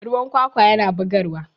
ruwan kwakwa yana bugarwa